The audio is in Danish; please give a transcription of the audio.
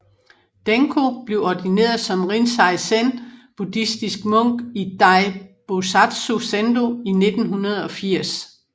Denko blev ordineret som Rinzai Zen Buddhistisk munk i Dai Bosatsu Zendo i 1980